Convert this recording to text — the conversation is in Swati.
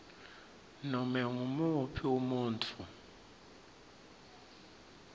nobe ngumuphi umuntfu